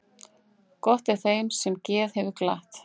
Gott er þeim sem geð hefur glatt.